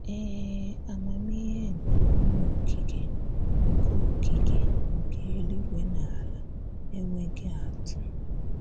Ee, àmàmihè nke Onyé Okikè nke Okikè nke eluigwè na àlà enweghị̀ atụ.